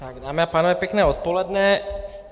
Dámy a pánové, pěkné odpoledne.